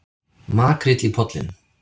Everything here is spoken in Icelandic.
Makríll í Pollinum